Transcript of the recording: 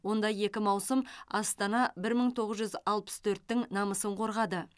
онда екі маусым астана бір мың тоғыз жүз алпыс төрттің намысын қорғады